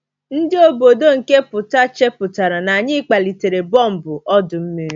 Ndị obodo nke pụta chepụtara na anyị kpalitere bọmbụ ọdụ̀ mmiri!